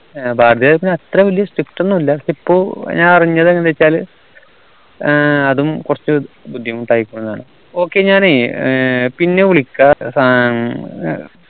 ഏർ ഭാരതീയർ അത്ര വലിയ strict ഒന്നുല പക്ഷെ ഇപ്പൊ ഞാൻ അറിഞ്ഞത് ഏർ അതും കുറച്ബുദ്ദിമുട്ടായിക്കുണു എന്നാണ് okay ഞാന് പിന്നെ വിളിക്കാ സം